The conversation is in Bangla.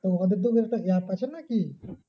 তো ওদের তো app আছে নাকি?